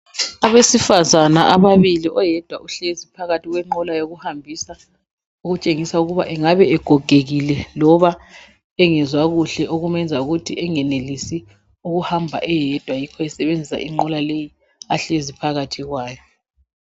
Abesifazana ababili oyedwa uhlezi phakathi kwenqola yokuhambisa okutshengisa ukuba engabe egogekile loba engezwa kuhle okumenza ukuthi engenelisi ukuhamba eyedwa yikho esebenzisa inqola leyi ahlezi phakathi kwayo.